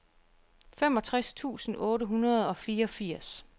femogtres tusind otte hundrede og fireogfirs